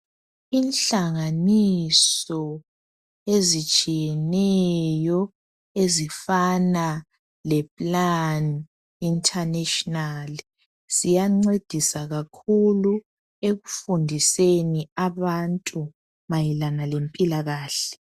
Ihlanganiso ezitshiyeneyo ezifana lePlan internationally, ziyancedisa kakhulu ekufundiseni abantu mayelana nge philakahle.